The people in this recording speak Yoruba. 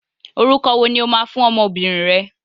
Orúkọ wo ni o máa fún ọmọbìnrin rẹ?